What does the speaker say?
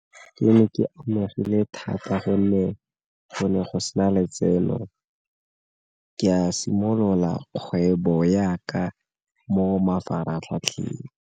Ke ne ke amegile thata gonne go ne go sena letseno, ke a simolola kgwebo ya ka mo mafaratlhatlheng.